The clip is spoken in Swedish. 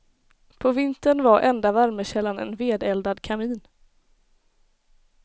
På vintern var enda värmekällan en vedeldad kamin.